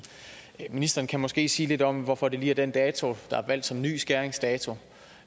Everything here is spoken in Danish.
ministeren kan måske sige lidt om hvorfor det lige er den dato der er valgt som ny skæringsdato